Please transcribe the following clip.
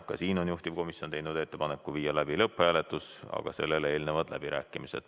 Ka siin on juhtivkomisjon teinud ettepaneku viia läbi lõpphääletus, aga sellele eelnevad läbirääkimised.